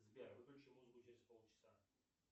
сбер включи музыку через полчаса